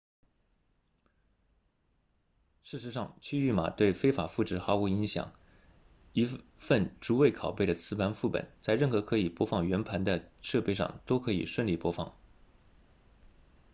事实上区域码对非法复制毫无影响一份逐位拷贝的磁盘副本在任何可以播放原盘的设备上都可以顺利播放